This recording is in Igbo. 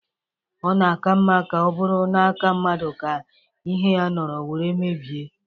Ona-aka mma ka o buru n'aka mmadu ka ihe ya noro were mebie.